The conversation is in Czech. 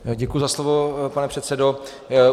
Děkuji za slovo, pane předsedo.